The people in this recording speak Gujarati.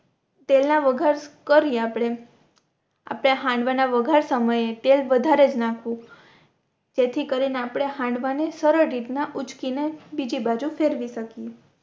તેલ ના વઘાર કરીયે આપણે આપણે હાંડવા ના વઘાર સમય એ તેલ વધારેજ નાખવુ જેથી કરીને આપણે હાંડવા ને સરળ રીતના ના ઉચકી ને બીજી બાજુ ફેરવી શકીએ